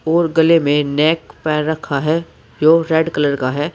और गले में नेक पे रखा है जो रेड कलर का है।